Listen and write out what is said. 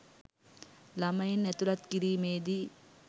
ළමයින් ඇතුළත් කිරීමේදී